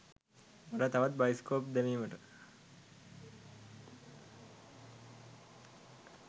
මට තවත් බයිස්කෝප් දැමීමට